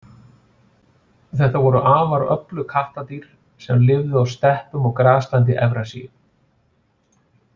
Þetta voru afar öflug kattadýr sem lifðu á steppum og graslendi Evrasíu.